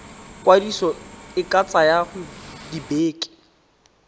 kwadiso e ka tsaya dibeke